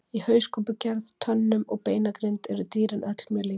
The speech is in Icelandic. Í hauskúpugerð, tönnum og beinagrind eru dýrin öll mjög lík.